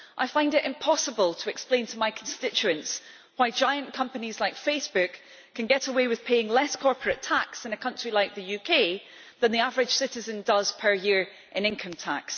I find it impossible to explain to my constituents why giant companies like Facebook can get away with paying less in corporate tax, in a country like the UK, than the average citizen does per year in income tax.